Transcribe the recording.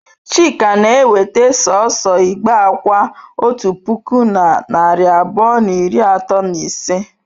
Chika na-eweta sọọsọ igbe akwa otu puku na narị abụọ na iri atọ na ise?